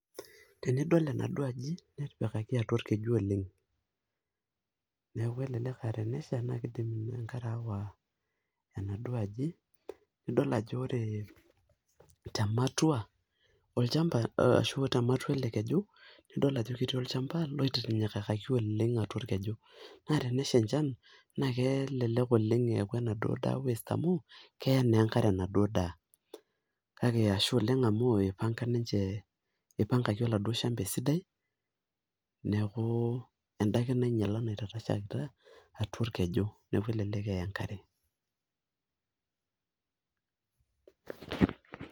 Tenidol enadua aji netipikaki atua olkeju oleng',neeku elelek aa tenesha niidim enkare aawa enadua aji, nidol ajo ore tematua ashu tematua ele keju nidol ajo ketii olchamba oitinyikaki atua olkeju. Naa tenesha enjan kelelek eeku enaduo duo daa waste amu keya enkare enaduo daa, kake ashe oleng' amu ipanga ninje ipanga oladuo shamba esidai, neeku endake nainyial natashere atua olkeju, neeku elelek eya enkare.